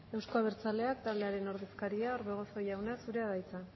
euzko abertzaleak taldearen ordezkaria orbegozo jauna zurea da hitza